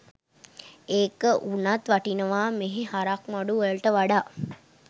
ඒක උනත් වටිනවා මෙහෙ හරක් මඩු වලට වඩා